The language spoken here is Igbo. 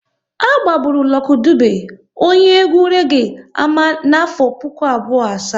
A gbagburu Lucky Dube, onye egwu reege ama n'afọ puku abụọ asaa